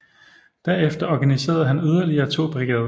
Derefter organiserede han yderligere to brigader